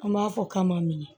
An b'a fɔ k'a ma minɛ